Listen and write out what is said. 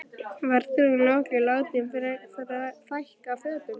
Verður hún nokkuð látin fækka fötum?